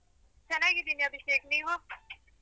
ಚೆನ್ನಾಗಿದೀನಿ ಅಭಿಷೇಕ್, ನೀವು?